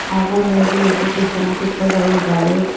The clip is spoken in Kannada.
ಹಾಗೂ ಮೂರು ಯೇಸು ಕ್ರಿಸ್ತನ ಚಿತ್ರಗಳು ಇದಾವೆ. ಎ --